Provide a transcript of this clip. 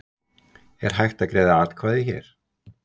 Er hægt að greiða atkvæði hér